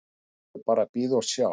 Nú er bara að bíða og sjá.